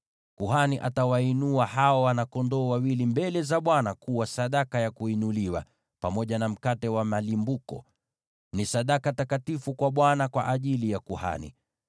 Kuhani atawainua hao wana-kondoo wawili mbele za Bwana kuwa sadaka ya kuinuliwa, pamoja na mkate wa malimbuko. Ni sadaka takatifu kwa Bwana kwa ajili ya kuhani.